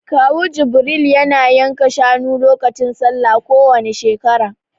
Kawu Jibril ya na yanka shanu lokacin Sallah kowani shekara